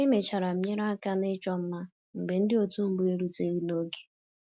Emechara m nyere aka na ịchọ mma mgbe ndị otu mbụ eruteghi n'oge